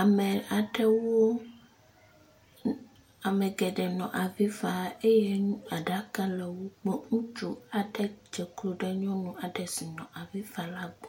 ame aɖewo. Ame geɖe nɔ avi fam eye aɖaka le wo gbɔ. Ŋutsu aɖe dze klo ɖe nyɔnu aɖe si nɔ avi fam la gbɔ.